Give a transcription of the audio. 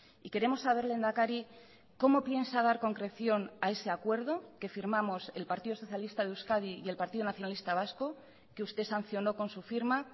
y queremos saber lehendakari cómo piensa dar concreción a ese acuerdo que firmamos el partido socialista de euskadi y el partido nacionalista vasco que usted sancionó con su firma